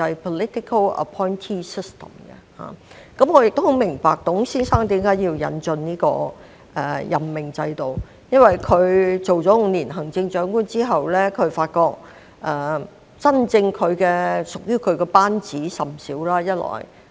我亦明白董先生為何要引進這個任命制度，因為他擔任了近5年行政長官後，發覺真正屬於他的班子甚少。